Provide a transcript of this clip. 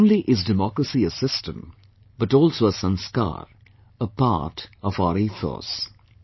Not only is Democracy a system, but also a 'sanskar' a part of our ethos